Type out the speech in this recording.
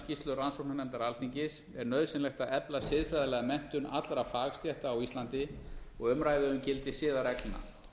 skýrslu rannsóknarnefndar alþingis er nauðsynlegt að efla siðfræðilega menntun allra fagstétta á íslandi og umræðu um gildi siðareglna